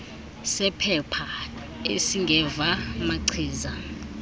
sephepha esingeva machiza